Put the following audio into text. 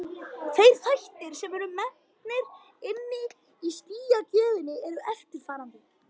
Þeir þættir sem eru metnir inni í stigagjöfina eru eftirfarandi: